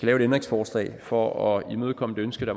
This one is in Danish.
et ændringsforslag for at imødekomme et ønske